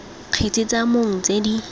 kgetse tsa mong tse di